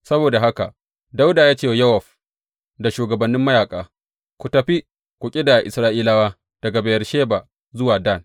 Saboda haka Dawuda ya ce wa Yowab da shugabannin mayaƙa, Ku tafi ku ƙidaya Isra’ilawa daga Beyersheba zuwa Dan.